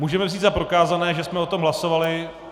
Můžeme vzít za prokázané, že jsme o tom hlasovali?